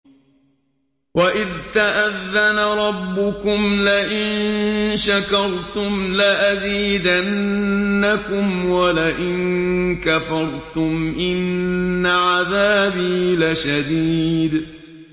وَإِذْ تَأَذَّنَ رَبُّكُمْ لَئِن شَكَرْتُمْ لَأَزِيدَنَّكُمْ ۖ وَلَئِن كَفَرْتُمْ إِنَّ عَذَابِي لَشَدِيدٌ